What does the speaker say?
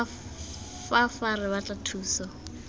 fa fa re batla thuso